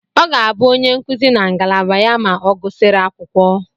Ọ ga-abụ onye nkuzi na ngalaba ya ma ọ gụsịrị akwụkwọ.